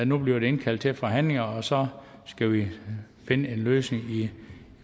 nu bliver der indkaldt til forhandlinger og så skal vi finde en løsning i